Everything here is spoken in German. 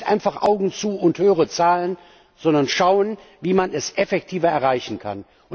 Nicht einfach Augen zu und höhere Zahlen, sondern schauen, wie man das effektiver erreichen kann.